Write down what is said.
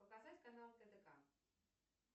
показать канал тдк